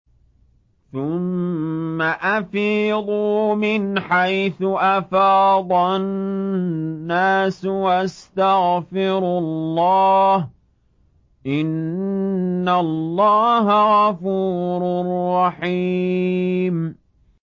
ثُمَّ أَفِيضُوا مِنْ حَيْثُ أَفَاضَ النَّاسُ وَاسْتَغْفِرُوا اللَّهَ ۚ إِنَّ اللَّهَ غَفُورٌ رَّحِيمٌ